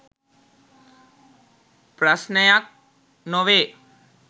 ප්‍රස්නයක් නොවේ .